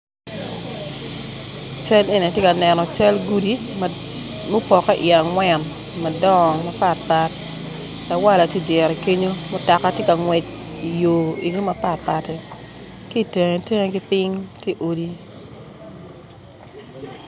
Cal eni ati ka neno cal gudi mupokke iye angwen madongo mapatpat lawala ti idyere kinyo mutoka ti ka ngwec i yo eno mapatpat-ti ki itenge tenge ki piny tye odi